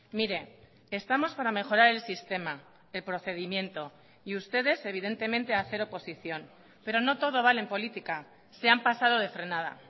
mire estamos para mejorar el sistema el procedimiento y ustedes evidentemente hacer oposición pero no todo vale en política se han pasado de frenada